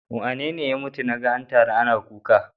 Wane ya mutu naga an taru ana kuka?